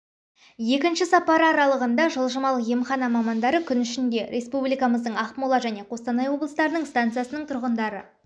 екінші сапары аралығында жылжымалы емхана мамандары күн ішінде республикамыздың ақмола және қостанай облыстарының станциясының тұрғындары